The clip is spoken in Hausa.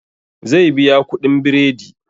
Zai biya kuɗin biredi